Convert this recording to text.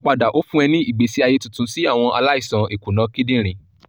iṣipopada o fun e ni igbesi aye tuntun si awọn alaisan ikuna kidinrin